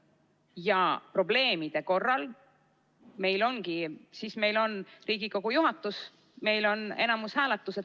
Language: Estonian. Ja probleemide korral meil ongi Riigikogu juhatus ja meil on enamushääletus.